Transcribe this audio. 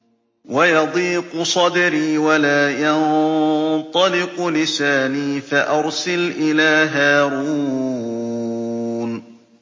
وَيَضِيقُ صَدْرِي وَلَا يَنطَلِقُ لِسَانِي فَأَرْسِلْ إِلَىٰ هَارُونَ